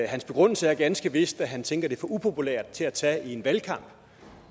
hans begrundelse er ganske vist at han tænker det er for upopulært til at tage op i en valgkamp